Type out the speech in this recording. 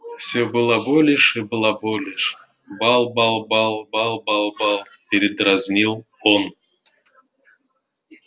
все балаболишь и балаболишь бал-бал-бал бал-бал-бал передразнил он